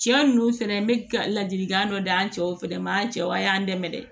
Cɛ nunnu fɛnɛ n be ka ladilikan dɔ d'an cɛw fɛnɛ ma an cɛw a y'an dɛmɛ dɛ